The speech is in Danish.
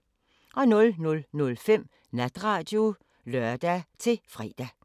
00:05: Natradio (lør-fre)